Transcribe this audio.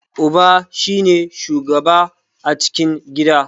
Uba shi ne shugaba a cikin gida.